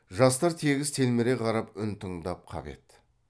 жастар тегіс телміре қарап үн тыңдай қап еді